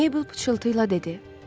Meybl pıçıltıyla dedi: